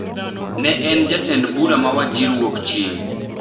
ne en jatend bura ma Wajir Wuokchieng’.